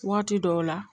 Waati dɔw la